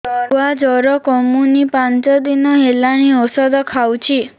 ଛୁଆ ଜର କମୁନି ପାଞ୍ଚ ଦିନ ହେଲାଣି ଔଷଧ ଖାଉଛି